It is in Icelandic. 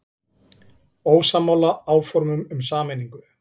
Ósammála áformum um sameiningu